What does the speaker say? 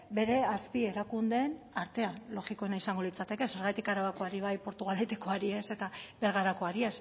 bere azpi erakundeen artean logikoena izango litzateke zergatik arabakoari bai portugaletekoari ez eta bergarakoari